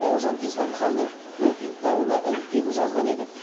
бауыржан исламханның допинг дауына іліккенін жазған едік